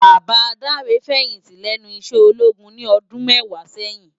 Baba Dare fèyinti lènú iṣè ólógún ni òdùn mèwá sèyin